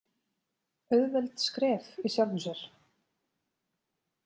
Auðveld skref í sjálfu sér.